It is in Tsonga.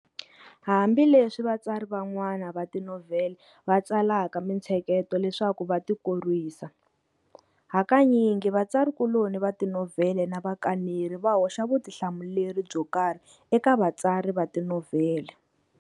Hambileswi vatsari van'wana va tinovhele va tsalaka minthseketo leswaku va ti korwisa, hakanyingi vatsari kuloni va tinovhele na vakaneri va hoxa vutihlamuleri byo karhi eka vatsari va tinovhele.